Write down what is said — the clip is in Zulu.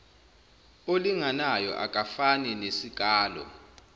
olinganayo akufani nesikalo